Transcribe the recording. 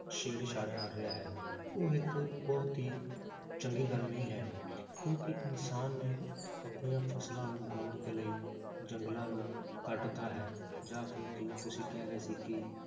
ਛੇੜ ਛਾੜ ਕਰ ਰਿਹਾ ਹੈ ਉਹ ਇੱਕ ਬਹੁਤ ਹੀ ਚੰਗੀ ਗੱਲ ਨਹੀਂ ਹੈ ਕਿਉਂਕਿ ਇਨਸਾਨ ਨੇ ਆਪਣੀਆਂ ਫਸਲਾਂ ਨੂੰ ਉਗਾਉਣ ਦੇ ਲਈ ਜੰਗਲਾਂ ਨੂੰ ਕੱਟ ਤਾ ਹੈ ਜਾਂ ਫਿਰ ਜਿਵੇਂ ਤੁਸੀਂ ਕਹਿ ਰਹੇ ਸੀ ਕਿ